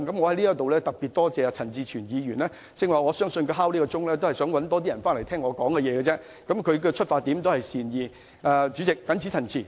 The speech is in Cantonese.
我特別感謝陳志全議員，他剛才要求點算法定人數，讓更多議員返回會議廳聽我發言，其出發點也是善意的。